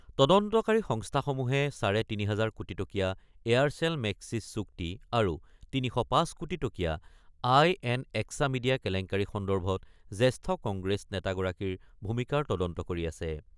তদন্তকাৰী সংস্থাসমূহে চাৰে তিনি হাজাৰ কোটি টকীয়া এয়াৰচেল-মেক্সিছ চুক্তি আৰু ৩০৫ কোটি টকীয়া আই এন এক্স মিডিয়া কেলেংকাৰী সন্দৰ্ভত জ্যেষ্ঠ কংগ্ৰেছ নেতাগৰাকীৰ ভূমিকাৰ তদন্ত কৰি আছে।